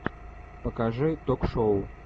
покажи ток шоу